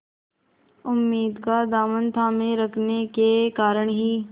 उम्मीद का दामन थामे रखने के कारण ही